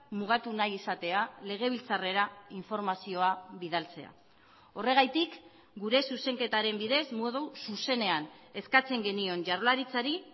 mugatu nahi izatea legebiltzarrera informazioa bidaltzea horregatik gure zuzenketaren bidez modu zuzenean eskatzen genion jaurlaritzari